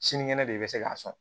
Sinikɛnɛ de i bɛ se k'a sɔn